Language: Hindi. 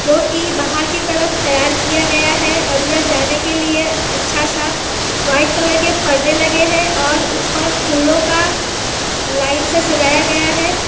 जोकि बाहर की तरफ तैयार किया गया है अंदर जाने के लिए अच्छा सा व्हाइट कलर के पर्दे लगे है और ऊपर फूलों का लाइन से सजाया गया है।